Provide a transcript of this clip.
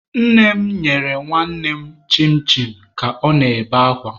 Nne m nyere nwannem chin chin ka ọ na-ebe akwa.